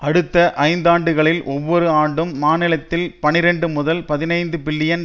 அடுத்த ஐந்தாண்டுகளில் ஒவ்வொரு ஆண்டும் மாநிலத்தில் பனிரண்டு முதல் பதினைந்து பில்லியன்